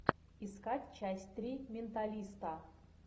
искать часть три менталиста